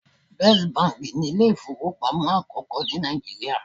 First Bank' ni Ilé ìfowópamọ́ àkókó ní Nàìjíríà